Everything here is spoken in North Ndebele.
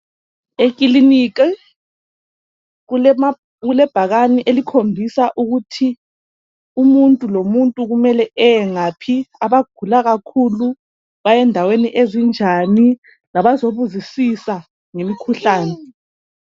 Eklilinika kulebhakana elikhombisa ukuthi umuntu lomuntu kumele ayengaphi abagula kakhulu bayendaweni ezinjani labazobuzusa ngemikhuhlani.